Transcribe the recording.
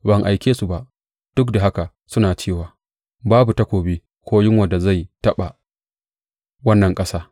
Ban aike su ba, duk da haka suna cewa, Babu takobi ko yunwar da zai taɓa wannan ƙasa.’